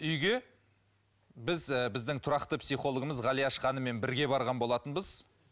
үйге біз і біздің тұрақты психологымыз ғалияш ханыммен бірге барған болатынбыз